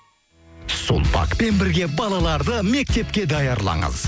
сулпакпен бірге балаларды мектепке даярлаңыз